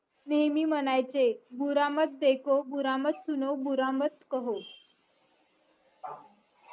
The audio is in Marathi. नेहमी म्हणायचे